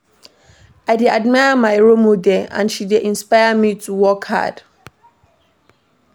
I dey admire my role model, na she dey inspire me to work hard.